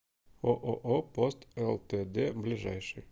ооо пост лтд ближайший